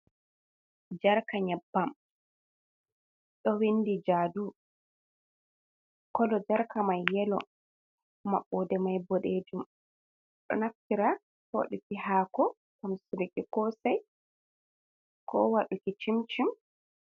Jarka nyaɓɓam, ɗo winɗi jaɗu. Kolo jarka mai yelo. Maɓɓoɗe mai ɓoɗejum. Ɗo naftira woɗuki hako, tamsuki kosai, ko waɗuki cimcim.